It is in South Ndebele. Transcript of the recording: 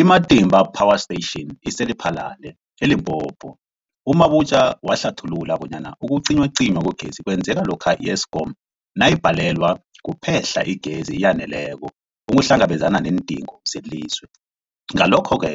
I-Matimba Power Station ise-Lephalale, eLimpopo. U-Mabotja wahlathulula bonyana ukucinywacinywa kwegezi kwenzeka lokha i-Eskom nayibhalelwa kuphe-hla igezi eyaneleko ukuhlangabezana neendingo zelizwe. Ngalokho-ke